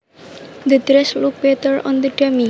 The dress looked better on the dummy